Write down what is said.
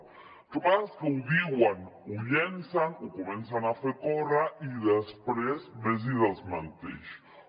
el que passa és que ho diuen ho llancen ho comencen a fer córrer i després ves i desmenteix ho